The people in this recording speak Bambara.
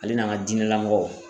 Ale n'an ka diinɛlamɔgɔw.